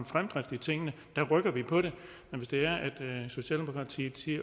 fremdrift i tingene så rykker vi på det men hvis det er sådan at socialdemokratiet siger